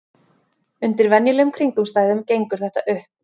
Undir venjulegum kringumstæðum gengur þetta upp.